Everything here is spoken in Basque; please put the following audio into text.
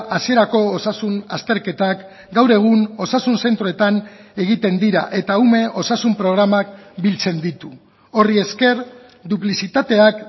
hasierako osasun azterketak gaur egun osasun zentroetan egiten dira eta ume osasun programak biltzen ditu horri esker duplizitateak